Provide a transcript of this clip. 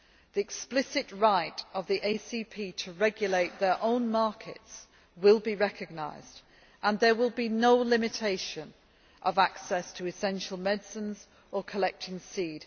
The explicit right of the ACP to regulate their own markets will be recognised and there will be no limitation of access to essential medicines or collecting seed.